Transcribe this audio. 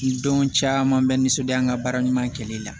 Ni don caman bɛ nisɔndiya n ka baara ɲuman kɛli la